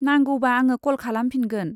नांगौबा आङो कल खालामफिनगोन।